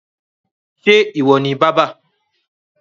ṣe iwọ ni bàbà?